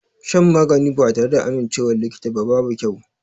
Shan magani ba tare da amincewar likita ba babu kyau.